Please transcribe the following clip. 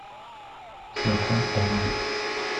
закон ома